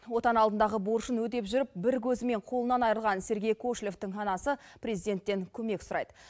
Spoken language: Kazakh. отан алдындағы борышын өтеп жүріп бір көзімен қолынан айырылған сергей кошелевтің анасы президенттен көмек сұрайды